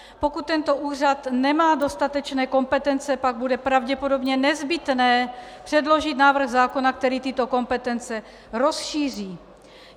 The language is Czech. Pokud tento úřad nemá dostatečné kompetence, pak bude pravděpodobně nezbytné předložit návrh zákona, který tyto kompetence rozšíří.